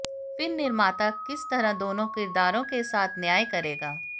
फिर निर्माता किस तरह दोनों किरदारों के साथ न्याय करेगा